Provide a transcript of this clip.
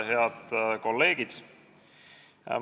Head kolleegid!